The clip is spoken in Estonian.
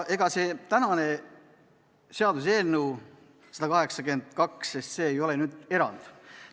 Ega see tänane seaduseelnõu 182 ei ole erand.